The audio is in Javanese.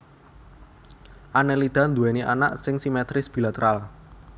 Annelida nduwèni awak sing simetris bilateral